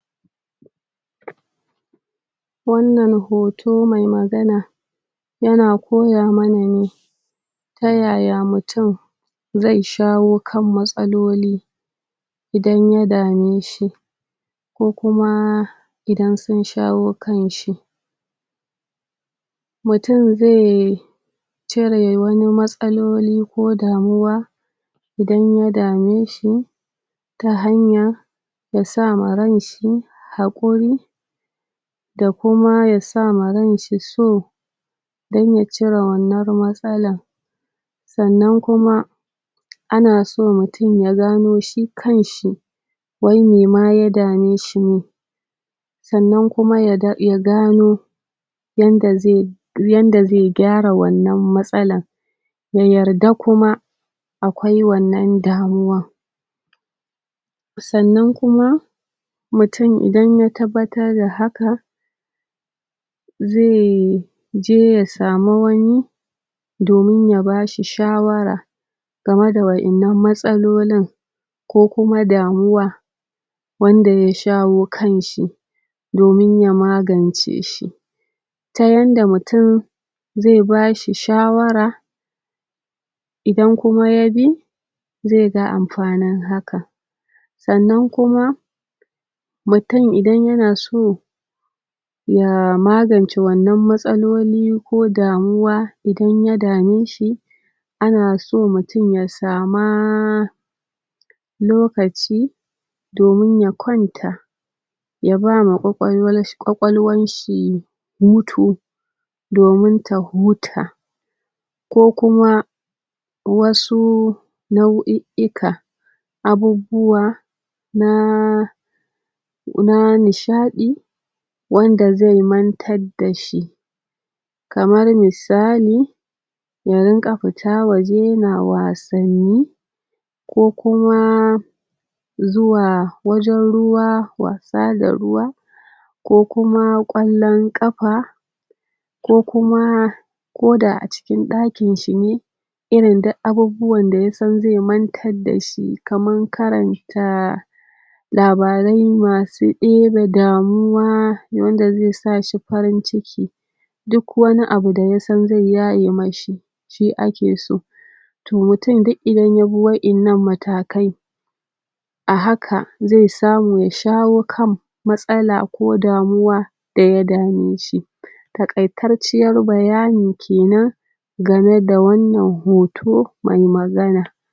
Wannan hoto mai magana ya na koya ma na ne tayaya mutum zai shawo kan matsaloli idan ya dame shi, ko kuma idan sun shawo kanshi, mutum zai cire wani matsaloli ko damuwa idan ya dame shi ta hanya da sa ma ranshi haƙuri da kuma ya sa ma ranshi so don ya cire wannar matsalan, sannan kuma ana so mutum ya gano shi kan shi wai mi ma ya dame shi ne, sannan kuma ya da... ya gano yanda zai yanda zai gyara wannan matsalan ya yarda kuma akwai wannan damuwa, sannan kuma mutum idan ya tabbatar da haka zai... je ya samu wani domin ya ba shi shawara game da waɗannan matsalolin ko kuma damuwa wanda ya shawo kanshi, domin ya magance shi ta yanda mutum zai ba shi shawara idan kuma ya bi zai ga amfanin haka, sannan kuma mutum idan ya na so ya magance wannan matsaloli ko damuwa idan ya dame shi, ana so mutum ya sama..... lokaci domin ya kwanta ya ba ma ƙwaƙwalwal...ƙwaƙwalwanshi hutu domin ta huta, ko kuma wasu nau'iika abubbuwa na na nishaɗi wanda zai mantadda shi, kamar misali: Ya rinƙa fita waje ya na wasanni ko kuma zuwa wajen ruwa, wasa da ruwa, ko kuma ƙwallon ƙafa, ko kuma koda a cikin ɗakinshi ne irin duk abubuwanda ya san zai mantadda shi kaman karanta labarai ma su ɗebe damuwa wanda zai sa shi farin ciki, duk wani abu da ya san zai yaye ma shi shi ake so, to mutum duk idan ya bi waɗannan matakai a haka zai samu ya shawo kan matsala ko damuwa da ya dame shi, taƙaitarciyar bayani kenan game da wannan hoto mai magana.